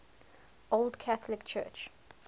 old catholic church